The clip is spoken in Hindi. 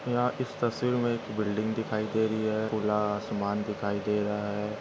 यहा इस तस्वीर में एक बिल्डिंग दिखाई दे रही है खुला आसमान दिखाई दे रहा है।